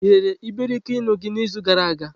Ị rere iberikoinu gị n'izu gara aga?